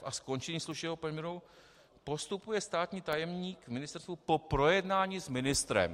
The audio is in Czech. f) a skončení služebního poměru postupuje státní tajemník na ministerstvu po projednání s ministrem.